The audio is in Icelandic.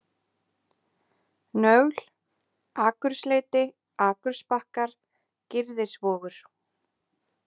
Nögl, Akursleiti, Akursbakkar, Girðisvogur